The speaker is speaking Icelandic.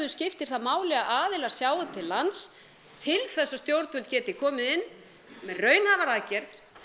skiptir það máli að aðilar sjái til lands til þess að stjórnvöld geti komið inn með raunhæfar aðgerðir